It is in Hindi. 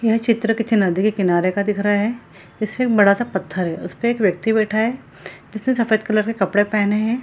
यह चित्र किसी नदी के किनारे का दिख रहा है। जिसमे एक बड़ा सा पत्थर है। उसपे एक व्यक्ति बैठा हुआ है। जिसने सफ़ेद कलर के कपड़े पहने है।